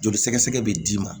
Joli sɛgɛsɛgɛ be d'i ma